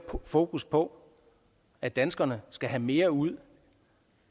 fokus på at danskerne skal have mere ud